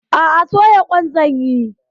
A'a, soya ƙwan zan yi.